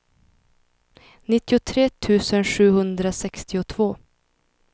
nittiotre tusen sjuhundrasextiotvå